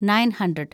nine hundred